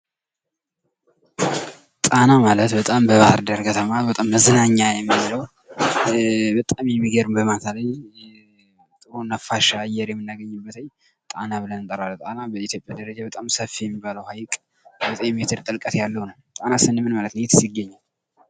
ጣና ማለት በጣም በባህር ዳር ከተማ በጣም መዝናኛ የሚሆነው በጣም የሚገርም በማታ ላይ ጥሩ ነፋሻ አየር የምናገኝበት ጣና ብለን እንጠረዋለን ። ጣና በኢትዮጵያ ደረጃ በጣም ሰፊ የሚባለው ሀይቅ ዘጠኝ ሜትር ጥልቀት ያለው ነው ። ጣና ስንል ምን ማለት ነው? የትስ ይገኛል?